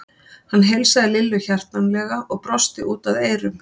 Hann heilsaði Lillu hjartanlega og brosti út að eyrum.